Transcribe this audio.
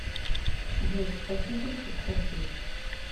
джой спасибо что спросил